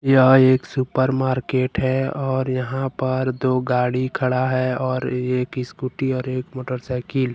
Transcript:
यह एक supermarket है और यहां पर दो गाड़ी खड़ा है और यह की स्कूटी और एक मोटरसाइकिल।